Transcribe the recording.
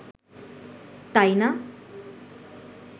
তাই না